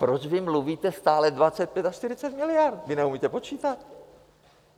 Proč vy mluvíte stále 25 až 40 miliard, vy neumíte počítat?